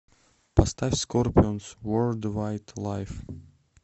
поставь скорпионс ворлд вайд лайв